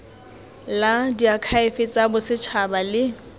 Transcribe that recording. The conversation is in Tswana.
la diakhaefe tsa bosetšhaba le